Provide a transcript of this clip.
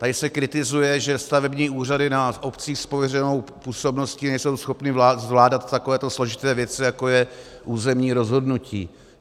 Tady se kritizuje, že stavební úřady na obcích s pověřenou působností nejsou schopny zvládat takovéto složité věci, jako je územní rozhodnutí.